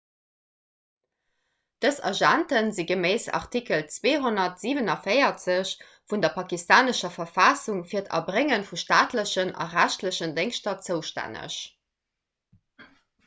dës agente si geméiss artikel 247 vun der pakistanescher verfassung fir d'erbrénge vu staatlechen a rechtlechen déngschter zoustänneg